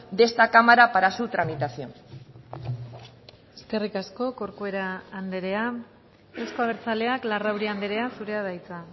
de esta cámara para su tramitación eskerrik asko corcuera andrea euzko abertzaleak larrauri andrea zurea da hitza